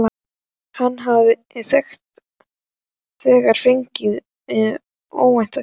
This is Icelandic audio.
Hann hafði þegar fengið óvænta gjöf.